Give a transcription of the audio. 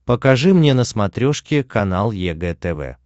покажи мне на смотрешке канал егэ тв